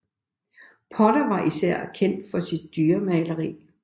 Potter er især kendt for sit dyremaler